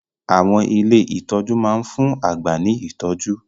Àwọn ilé ìtọ́jú máa ń fún àgbà ní ìtọ́jú